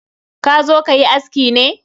Ka zo kayi aski ne?